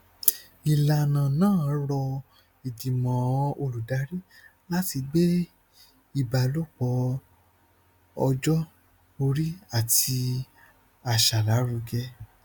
ìlànà náà rọ ìgbìmọ olùdarí láti gbé ìbálòpọ ọjọ orí àti àṣà lárugẹ